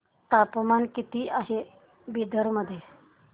तापमान किती आहे बिदर मध्ये